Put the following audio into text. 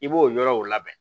I b'o yɔrɔw labɛn